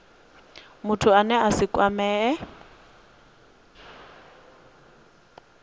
muthu ane a si kwamee